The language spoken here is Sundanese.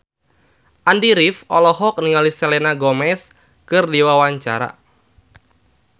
Andy rif olohok ningali Selena Gomez keur diwawancara